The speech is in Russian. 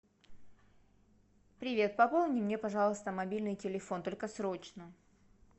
привет пополни мне пожалуйста мобильный телефон только срочно